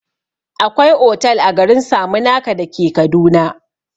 Akwai otal a garin saminaka dake kaduna